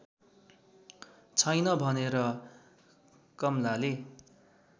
छैन भनेर कमलाले